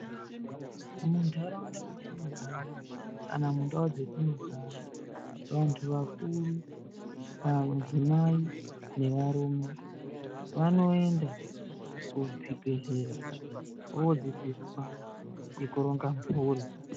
Muntaraunda mwetinogara kana mundau dzatinogara, vantu vakuru varume nemadzimai vanoenda kuzvibhehlera vodzidziswa ngekuronga mhuri.